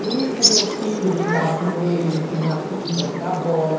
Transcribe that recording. E o meu filho brincava com ele, ia empinar pipa, jogar bola.